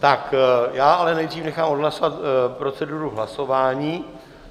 Tak já ale nejdřív nechám odhlasovat proceduru hlasování.